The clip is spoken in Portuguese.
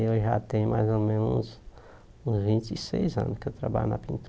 Eu já tenho mais ou menos uns uns vinte e seis anos que eu trabalho na